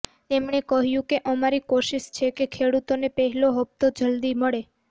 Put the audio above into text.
તેમણે કહ્યું કે અમારી કોશિશ છે કે ખેડૂતોને પહેલો હપ્તો જલદી મળે